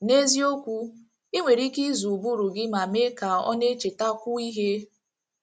N’eziokwu, i nwere ike ịzụ ụbụrụ gị ma mee ka ọ na - echetakwu ihe.